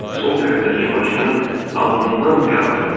Sol tərəfdəki başının alnından qan axırdı.